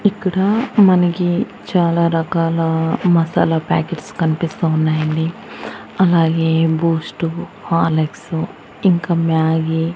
ఇక్కడ మనకి చాలా రకాల మసాలా ప్యాకెట్స్ కనిపిస్తూ ఉన్నాయండి అలాగే బూస్టు హార్లిక్సు ఇంకా మ్యాగీ --